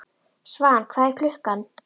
Svan, hvað er klukkan?